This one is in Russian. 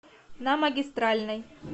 на магистральной